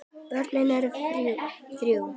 Börnin eru þrjú.